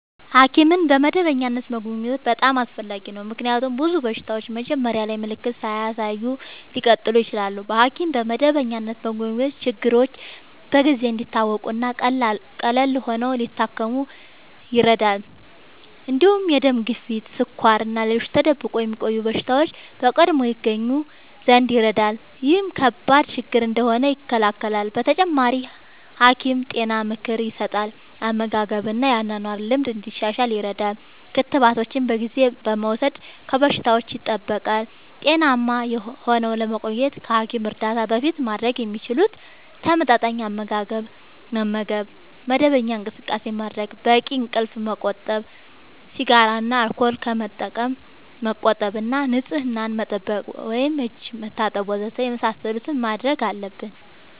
ሐኪምን በመደበኛነት መጎብኘት በጣም አስፈላጊ ነው፤ ምክንያቱም ብዙ በሽታዎች መጀመሪያ ላይ ምልክት ሳያሳዩ ሊቀጥሉ ይችላሉ። በሐኪም በመደበኛነት መጎብኘት ችግሮች በጊዜ እንዲታወቁ እና ቀላል ሆነው ሊታከሙ ይረዳል። እንዲሁም የደም ግፊት፣ ስኳር እና ሌሎች ተደብቆ የሚቆዩ በሽታዎች በቀድሞ ይገኙ ዘንድ ይረዳል። ይህም ከባድ ችግር እንዳይሆኑ ይከላከላል። በተጨማሪ፣ ሐኪም ጤና ምክር ይሰጣል፣ የአመጋገብ እና የአኗኗር ልምድ እንዲሻሻል ይረዳል። ክትባቶችን በጊዜ በመውሰድ ከበሽታዎች ይጠብቃል። ጤናማ ሆነው ለመቆየት ከሐኪም እርዳታ በፊት ማድረግ የሚችሉት፦ ተመጣጣኝ አመጋገብ መመገብ፣ መደበኛ እንቅስቃሴ ማድረግ፣ በቂ እንቅልፍ ማመቆጠብ፣ ሲጋራ እና አልኮል ከመጠቀም መቆጠብ እና ንጽህና መጠበቅ (እጅ መታጠብ ወዘተ) የመሳሰሉትን ማድረግ አለብን።